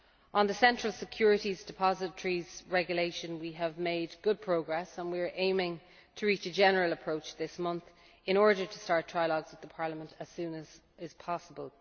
On the Central Securities Depositories Regulation, we have made good progress and are aiming to reach a general approach this month, in order to start trialogues with the Parliament as soon as possible.